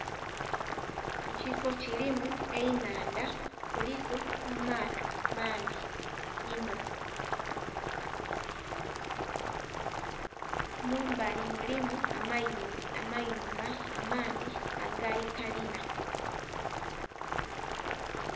Ekifo kirimu ennhandha kuliku amato mangi inho mumbali mulimu amayumba amangi agakalina.